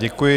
Děkuji.